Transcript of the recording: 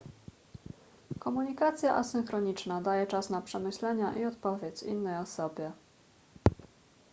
komunikacja asynchroniczna daje czas na przemyślenia i odpowiedź innej osobie